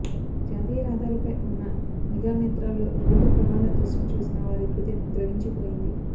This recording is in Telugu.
జాతీయ రహదారిపై ఉన్న నిఘానేత్రాల్లో రోడ్డు ప్రమాద దృశ్యం చూసిన వారి హృదయం ద్రవించిపోయింది